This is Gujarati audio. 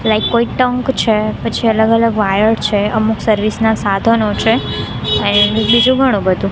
લાઈક કોઇક ટંક છે પછી અલગ અલગ વાયર છે અમુક સર્વિસ ના સાધનો છે અહીં બીજુ ઘણુ બધુ--